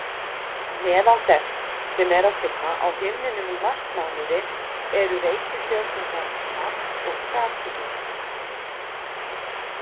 Meðal þess sem er að finna á himninum í marsmánuði eru reikistjörnurnar Mars og Satúrnus.